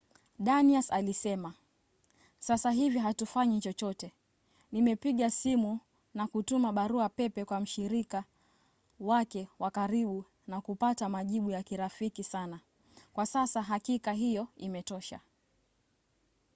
danius alisema sasa hivi hatufanyi chochote. nimepiga simu na kutuma barua pepe kwa mshirika wake wa karibu na kupata majibu ya kirafiki sana. kwa sasa hakika hiyo imetosha.